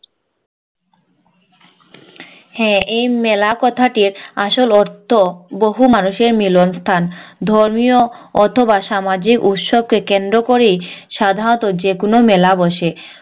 হ্যাঁ এই মেলা কথাটির আসল অৰ্থ বহু মানুষের মিলন স্থান ধর্মীয় অথবা সামাজিক উৎসবকে কেন্দ্র করেই সাধারণত যেকোনো মেলা বসে